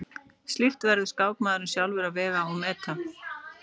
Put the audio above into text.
Slíkt verður skákmaðurinn sjálfur að vega og meta.